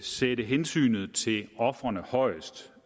sætte hensynet til ofrene højst